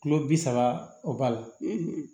Kilo bi saba o b'a la